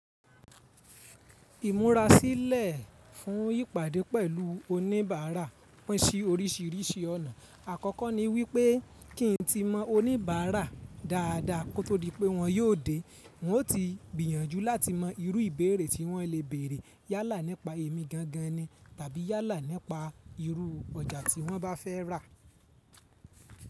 Ìmúra sílẹ̀ fún ìpàdé pẹ̀lú oníbàárà pín sí oríṣìíríṣìí ọ̀nà. Àkọ́kọ́ ni wípé kí ń ti mọ oníbàárà dáadáa kó tó di pé wọ́n yóò dé, wọn ó ti gbìyànjú láti mọ irú ìbéèrè tí wọ́n le béèrè yálà nípa èmi gangan ni tàbí yálà nípa irú ọjà tí wọ́n bá fẹ́ rà.